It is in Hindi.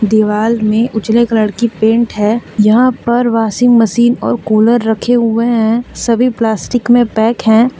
दीवाल में उजले कलर की पेंट है यहां पर वाशिंग मशीन और कूलर रखे हुए हैं सभी प्लास्टिक में पैक हैं।